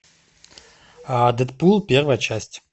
дэдпул первая часть